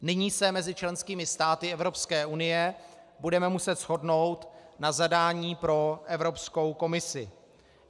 Nyní se mezi členskými státy Evropské unie budeme muset shodnout na zadání pro Evropskou komisi.